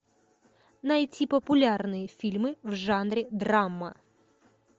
найти популярные фильмы в жанре драма